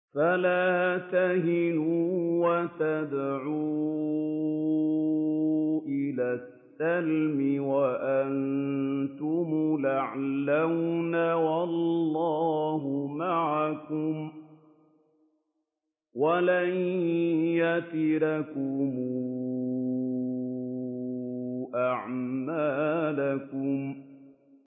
فَلَا تَهِنُوا وَتَدْعُوا إِلَى السَّلْمِ وَأَنتُمُ الْأَعْلَوْنَ وَاللَّهُ مَعَكُمْ وَلَن يَتِرَكُمْ أَعْمَالَكُمْ